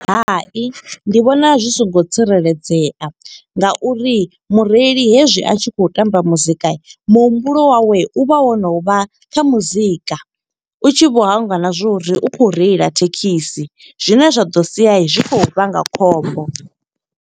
Hai, ndi vhona zwi songo tsireledzea nga uri mureili hezwi a tshi khou tamba muzika, muhumbulo wawe u vha wo no vha kha muzika. U tshi vho hangwa na zwo uri u khou reila thekhisi, zwine zwa ḓo sia zwi khou vhanga khombo.